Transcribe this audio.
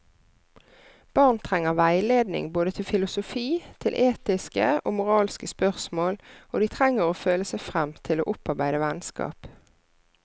Barn trenger veiledning både til filosofi, til etiske og moralske spørsmål, og de trenger å føle seg frem til å opparbeide vennskap.